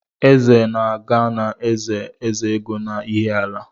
Eze na-aga na be Ezeego n'Iheala